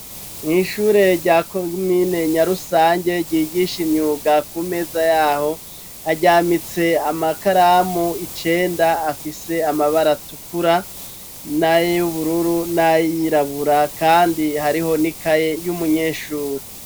Ni ishure rya komine Nyarusange ryigisha imyuga, ku meza y'aho haryamitse amakaramu icenda afise amabara atukura, nay'ubururu, n'ayirabura kandi hariho n'ikaye y'umunyeshure.